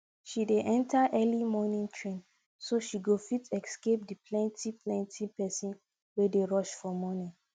she dey enter early morning train so she go fit escape the plenty plenty pesin wey dey rush for morning